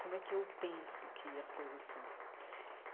Como é que eu penso que as coisas são?